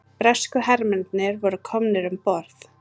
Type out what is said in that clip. Bresku hermennirnir voru komnir um borð.